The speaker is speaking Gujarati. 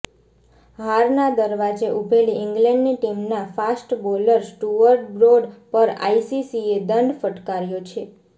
હારના દરવાજે ઉભેલી ઈંગ્લેન્ડની ટીમના ફાસ્ટ બોલર સ્ટુઅર્ડ બ્રોડ પર આઈસીસીએ દંડ ફટકાર્યો છે